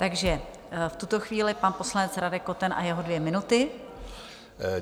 Takže v tuto chvíli pan poslanec Radek Koten a jeho dvě minuty.